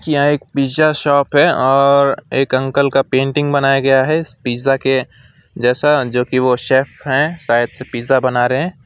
यहां एक pizza shop है और एक अंकल का पेंटिंग बनाया गया है पिज्जा के जैसा जो कि ओ शेफ हैं शायद से पिज्जा बना रहे हैं।